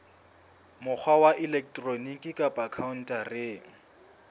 mokgwa wa elektroniki kapa khaontareng